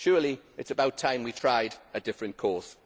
Surely it is about time we tried a different course.